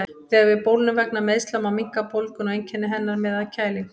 Þegar við bólgnum vegna meiðsla má minnka bólguna og einkenni hennar með að kælingu.